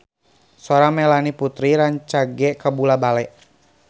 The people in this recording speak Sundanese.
Sora Melanie Putri rancage kabula-bale